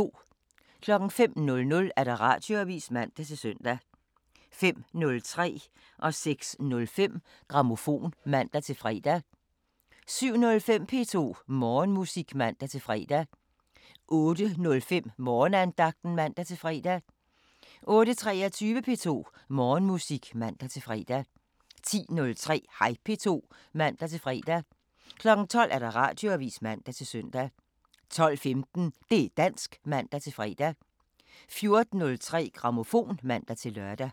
05:00: Radioavisen (man-søn) 05:03: Grammofon (man-søn) 06:05: Grammofon (man-fre) 07:05: P2 Morgenmusik (man-fre) 08:05: Morgenandagten (man-fre) 08:23: P2 Morgenmusik (man-fre) 10:03: Hej P2 (man-fre) 12:00: Radioavisen (man-søn) 12:15: Det' dansk (man-fre) 14:03: Grammofon (man-lør)